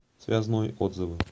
связной отзывы